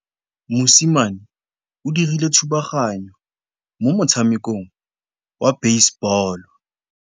Mosimane o dirile thubaganyô mo motshamekong wa basebôlô.